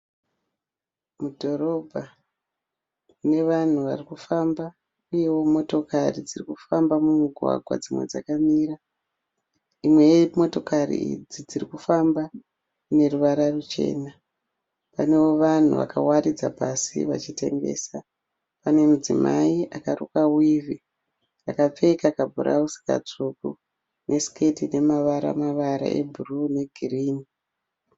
Mudhorobha. Mune vanhu vari kufamba uyewo motokari dziri kufamba mumugwagwa dzimwe dzakamira. Imwe yemotokari idzi dziri kufamba ine ruvara ruchena. Panewo vanhu vakawaridza pasi vachitengesa. Pane mudzimai akarukwa wivhi, akapfeka kabhurauzi katsvuku nesiketi ine mavara mavara ebhuruu negirini .